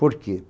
Por quê?